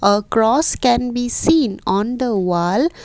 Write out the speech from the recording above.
a cross can be seen on the wall.